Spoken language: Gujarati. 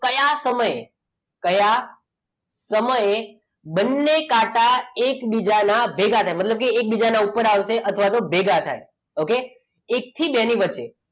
કયા સમયે કયા સમયે બંને કાંટા એકબીજાના ભેગા થાય મતલબ કે એકબીજાના ઉપર આવશે કાં તો ભેગા થશે okay એક થી બે ની વચ્ચે